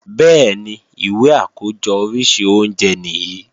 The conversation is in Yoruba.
Bẹ́ẹ̀ni, ìwé àkójọ oríṣi oúnjẹ nìyí